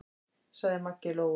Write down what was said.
sagði Maggi Lóu.